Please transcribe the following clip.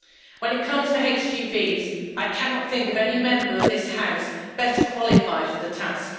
When it comes to HGVs, I cannot think of any Member of this House better qualified for the task.